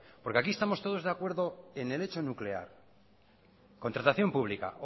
aquí estamos todos de acuerdo en el hecho nuclear contratación pública